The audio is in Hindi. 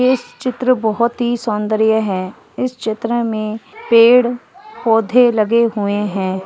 इस चित्र बहोत ही सौन्दर्य है इस चित्र में पेड़ पौधे लगें हुए है।